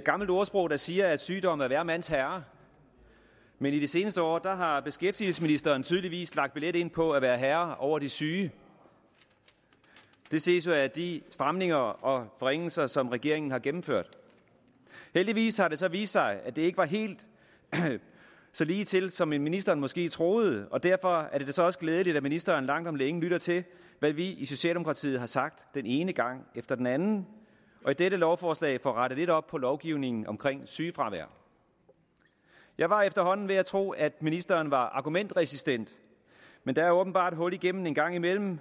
gammelt ordsprog der siger at sygdom er hver mands herre men i de seneste år har beskæftigelsesministeren tydeligvis lagt billet ind på at være herre over de syge det ses jo af de stramninger og forringelser som regeringen har gennemført heldigvis har det så vist sig at det ikke var helt så ligetil som ministeren måske troede og derfor er det så også glædeligt at ministeren langt om længe lytter til hvad vi i socialdemokratiet har sagt den ene gang efter den anden og i dette lovforslag får rettet lidt op på lovgivningen om sygefravær jeg var efterhånden ved at tro at ministeren var argumentresistent men der er åbenbart hul igennem en gang imellem